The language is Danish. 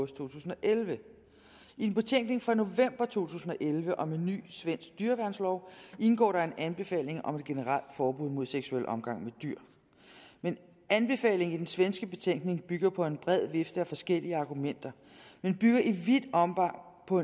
tusind og elleve i en betænkning fra november to tusind og elleve om en ny svensk dyreværnslov indgår der en anbefaling om et generelt forbud mod seksuel omgang med dyr anbefalingen i den svenske betænkning bygger på en bred vifte af forskellige argumenter men bygger i vidt omfang på